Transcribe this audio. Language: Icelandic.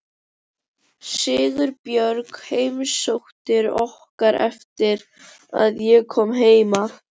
Sigurbjörg heimsótti okkur eftir að ég kom heim af